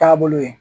Taabolo ye